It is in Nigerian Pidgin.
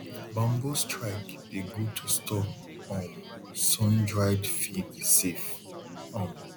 bamboo strike dey good to store um sundried feed safe um